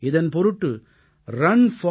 இதன் பொருட்டு runforunity